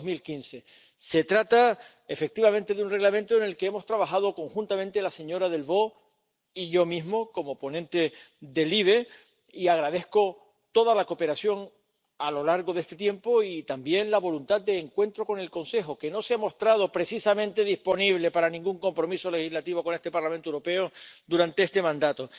2015. Se trata, efectivamente, de un Reglamento en el que hemos trabajado conjuntamente la señora Delvaux y yo mismo como ponente de la Comisión de Libertades Civiles, Justicia y Asuntos de Interior, y agradezco toda la cooperación a lo largo de este tiempo y también la voluntad de encuentro con el Consejo, que no se ha mostrado precisamente disponible para ningún compromiso legislativo con el Parlamento Europeo durante este mandato.